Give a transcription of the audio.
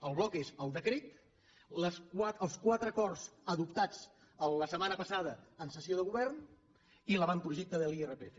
el bloc és el decret els quatre acords adoptats la setmana passada en sessió de govern i l’avantprojecte de l’irpf